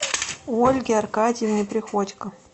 ольге аркадьевне приходько